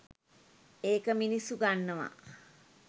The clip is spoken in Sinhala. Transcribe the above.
ඒක මිනිස්සු ගන්නවා.